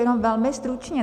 Jenom velmi stručně.